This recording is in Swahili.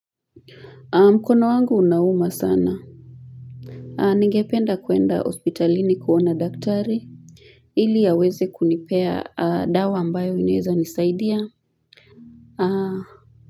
Mkono wangu unauma sana nigependa kuenda hospitalini kuona daktari ili aweze kunipea dawa ambayo inaweza nisaidia.